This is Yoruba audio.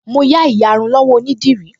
Mo yá ìyarun lọ́wọ́ onídìrí